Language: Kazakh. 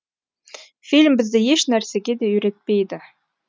фильм бізді ешнәрсеге де үйретпейді